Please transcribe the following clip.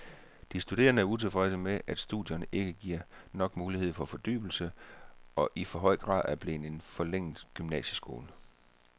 De studerende er utilfredse med, at studierne ikke giver nok mulighed for fordybelse og i for høj grad er blevet en forlænget gymnasieskole.